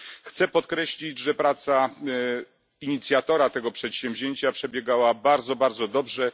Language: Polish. Chcę podkreślić, że praca inicjatora tego przedsięwzięcia przebiegała bardzo dobrze.